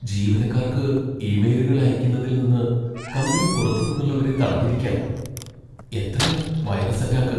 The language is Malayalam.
ജീവനക്കാർക്ക് ഇമെയിലുകൾ അയയ്ക്കുന്നതിൽ നിന്ന് കമ്പനി പുറത്തു നിന്നുള്ളവരെ തടഞ്ഞിരിക്കാ. എത്രയാ വൈറസ് അറ്റാക്ക്!